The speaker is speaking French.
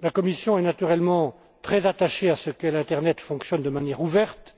La Commission est naturellement très attachée à ce que l'internet fonctionne de manière ouverte,